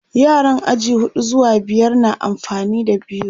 yaran aji huɗu zuwa biyar na amfani da biro